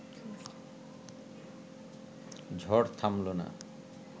ঝড় থামল না